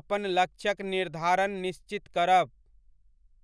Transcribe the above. अपन लक्ष्यक निर्धारण निश्चित करब।